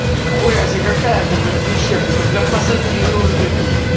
нихуя себе какая это блять прищепка это блять пассатижи уже какие-то